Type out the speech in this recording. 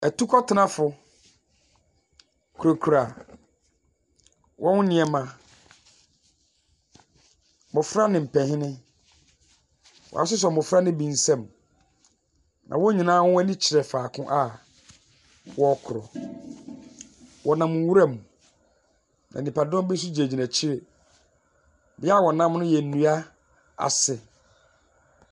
Ɛtukɔtenafo kurekura wɔn nneɛma. Mmɔfra ne mpanyin. Woasoso mmɔfra no bi nsɛm na wɔn nyinaa ɛni kyerɛ faako a wɔrekɔ. Wɔ nam nwura mu, na nipadɔm bi nso gyinagyina akyire. Bia ɔnam no yɛ nnua ase.